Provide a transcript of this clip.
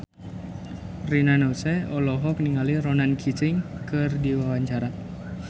Rina Nose olohok ningali Ronan Keating keur diwawancara